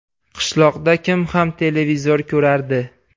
Qishloqda kim ham televizor ko‘rardi?